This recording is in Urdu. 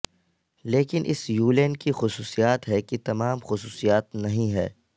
لیکن اس یولن کی خصوصیات ہے کہ تمام خصوصیات نہیں ہے